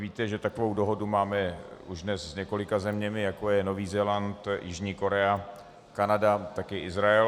Víte, že takovou dohodu máme už dnes s několika zeměmi, jako je Nový Zéland, Jižní Korea, Kanada, taky Izrael.